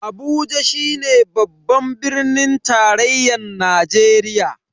Abuja shine babban birnin tarayyan Najeriya.